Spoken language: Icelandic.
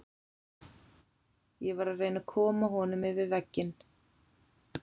Ég var að reyna að koma honum yfir vegginn.